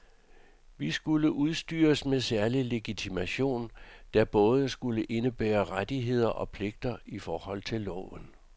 De skulle udstyres med særlig legitimation, der både skulle indebære rettigheder og pligter i forhold til loven.